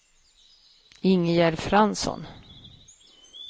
Ingegerd Fransson